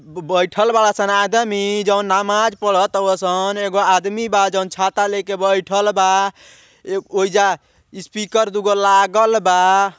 ब बइठल बाड़ सन आदमी जोन नमाज़ पढ़त हउव सन। एगो आदमी बा जोन छाता लेके बइठल बा। ए ओइजा स्पीकर दुगो लागल बा।